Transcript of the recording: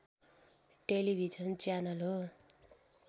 television channel हो